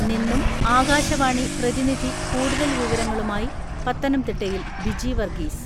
നിന്നും ആകാശവാണി പ്രതിനിധി കൂടുതൽ വിവരങ്ങളുമായി പത്തനംതിട്ടയിൽ ബിജിവർഗീസ്...